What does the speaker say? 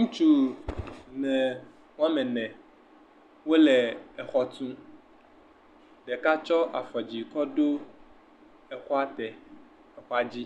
ŋutsu wo ame ene wo le xɔ tu ɖeka tsɔ afɔ dzi he do xɔ a dzi